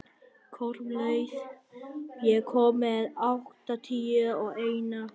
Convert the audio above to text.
Kormlöð, ég kom með áttatíu og eina húfur!